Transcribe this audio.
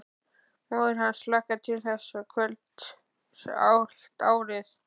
Móðir hans hlakkaði til þessa kvölds allt árið.